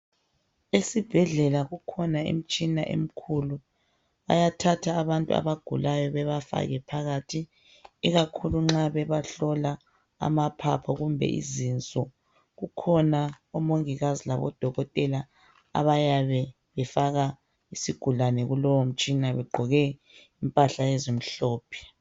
Esibhedlela kukhona imitshina emkhulu. Bayathatha abantu abagulayo bebafake phakathi ikakhulu nxa bebahlola amaphapho kumbe izinso. Kukhona omongikazi labodokotela abayabe befaka isigulane kulowomtshina begqoke impahla ezimhlophe.